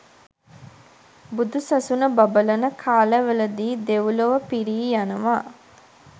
බුදු සසුන බබලන කාලවලදී දෙව්ලොව පිරී යනවා.